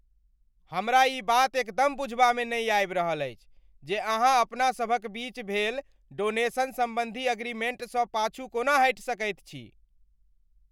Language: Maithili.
हमरा ई बात एकदम बुझबामे नहि आबि रहल अछि जे अहाँ अपना सभक बीच भेल डोनेशन सम्बन्धी अग्रीमेंटसँ पाछू कोना हटि सकैत छी।